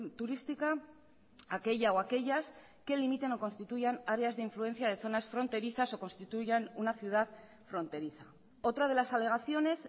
turística aquella o aquellas que limitan o constituyan áreas de influencia de zonas fronterizas o constituyan una ciudad fronteriza otra de las alegaciones